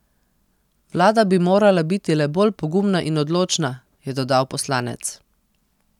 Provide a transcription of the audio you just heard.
Vlada bi morala biti le bolj pogumna in odločna, je dodal poslanec.